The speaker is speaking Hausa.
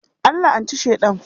An la'anci Sheɗan.